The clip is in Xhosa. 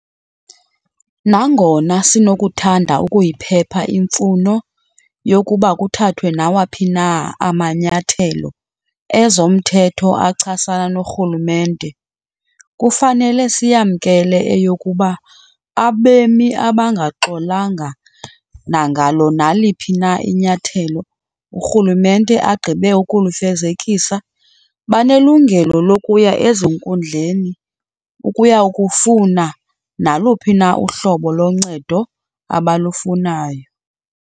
Nangona sinokuthanda ukuyiphepha imfuno yokuba kuthathwe nawaphi na amanyathelo ezomthetho achasana norhulumente, kufanele siyamkele eyokuba abemi abangaxolanga nangalo naliphi na inyathelo urhulumente agqibe ukulifezekisa banelungelo lokuya ezinkundleni ukuya kufuna naluphi na uhlobo loncedo abalufunayo.